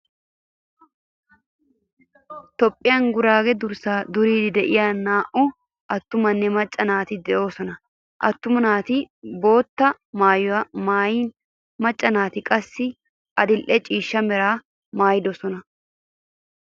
Toophphiyan gurage durssa duridi de'iyaa naa'u attumanne macca naati deosona. Attuma naati boottaa maayuwa maayin macca naati qassi adil'ee ciishshaa mera maayidosna.